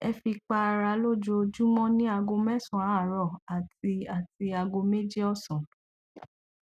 ẹ fi para lójoojúmọ ní aago mẹsàn án àárọ àti àti aago méjì ọsán